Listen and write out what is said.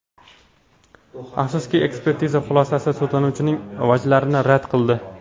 Afsuski, ekspertiza xulosasi sudlanuvchining vajlarini rad qildi.